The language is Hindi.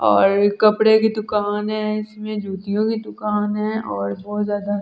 और कपड़े की दुकान है इसमें जूतियोकी दुकान है और बहुत ज्यादा--